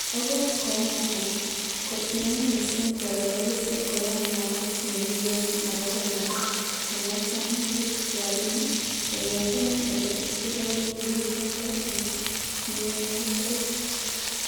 Okot kounoton, kotieme missing bororiosiek koyan mwaet nekiyoni agobo ngalek chemwoitoen bik rabinik, yengeten ele kikokiibundo en minginoitet.